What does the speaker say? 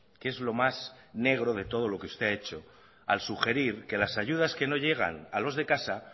que es lo más negro de todo lo que usted ha hecho al sugerir que las ayudas que no llegan a los de casa